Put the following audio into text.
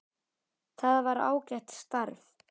Það var ágætt starf.